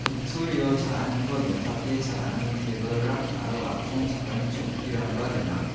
kutturio cha·aniko donchake cha·ani tebilrang aro atchongchakani chokkirangba gnang.